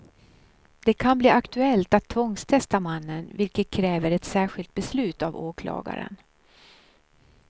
Det kan bli aktuellt att tvångstesta mannen, vilket kräver ett särskilt beslut av åklagaren.